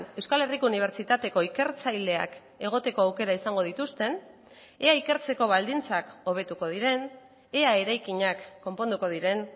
euskal herriko unibertsitateko ikertzaileak egoteko aukera izango dituzten ea ikertzeko baldintzak hobetuko diren ea eraikinak konponduko diren